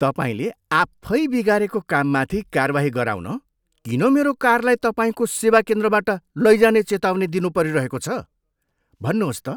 तपाईँले आफै बिगारेको काममाथि कारवाही गराउन किन मेरो कारलाई तपाईँको सेवा केन्द्रबाट लैजाने चेतावनी दिनु परिरहेको छ? भन्नुहोस् त?